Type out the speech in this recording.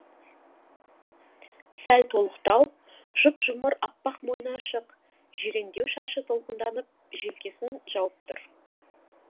сәл толықтау жұп жұмыр аппақ мойны ашық жирендеу шашы толқынданып желкесін жауып тұр